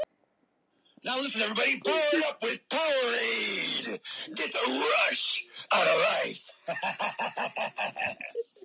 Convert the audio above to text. Er þetta góður samningur?